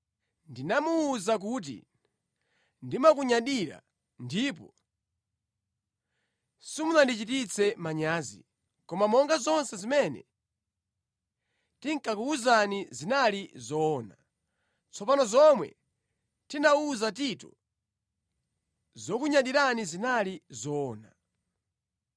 Ndinamuwuza kuti ndimakunyadirani, ndipo simunandichititse manyazi. Koma monga zonse zimene tinakuwuzani zinali zoona, tsono zomwe ndinawuza Tito zokunyadirani zinali zoona.